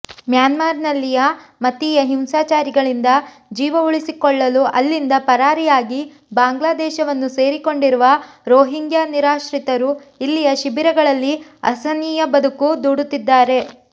ಮ್ಯಾನ್ಮಾರ್ನಲ್ಲಿಯ ಮತೀಯ ಹಿಂಸಾಚಾರಗಳಿಂದ ಜೀವವುಳಿಸಿಕೊಳ್ಳಲು ಅಲ್ಲಿಂದ ಪರಾರಿಯಾಗಿ ಬಾಂಗ್ಲಾದೇಶವನ್ನು ಸೇರಿಕೊಂಡಿರುವ ರೊಹಿಂಗ್ಯಾ ನಿರಾಶ್ರಿತರು ಇಲ್ಲಿಯ ಶಿಬಿರಗಳಲ್ಲಿ ಅಸಹನೀಯ ಬದುಕು ದೂಡುತ್ತಿದ್ದಾರೆ